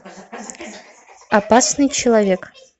опасный человек